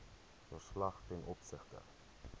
verslag ten opsigte